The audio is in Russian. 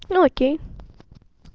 ну окей